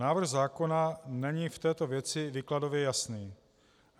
Návrh zákona není v této věci výkladově jasný.